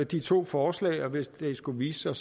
de to forslag og hvis det skulle vise sig